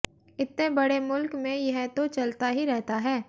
इत्ते बड़े मुल्क में यह तो चलता ही रहता है